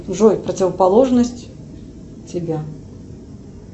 джой противоположность тебя